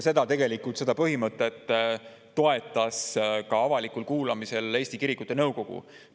Seda põhimõtet toetas avalikul kuulamisel ka Eesti Kirikute Nõukogu.